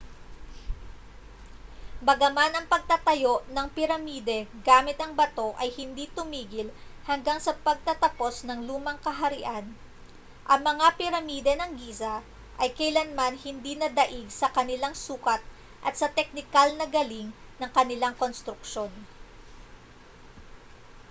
bagaman ang pagtatayo ng piramide gamit ang bato ay hindi tumigil hanggang sa pagtatapos ng lumang kaharian ang mga piramide ng giza ay kailanman hindi nadaig sa kanilang sukat at sa teknikal na galing ng kanilang konstruksyon